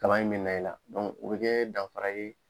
Kaba in bɛ na i la o bɛ kɛ danfara ye